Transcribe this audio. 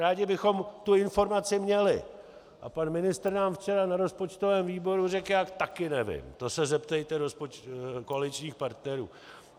Rádi bychom tu informaci měli a pan ministr nám včera na rozpočtovém výboru řekl "já taky nevím, to se zeptejte koaličních partnerů".